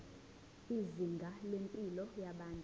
izinga lempilo yabantu